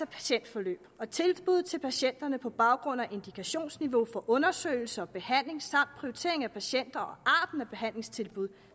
patientforløb og tilbud til patienterne på baggrund af indikationsniveau for undersøgelse og behandling samt prioriteringen af patienter og behandlingstilbud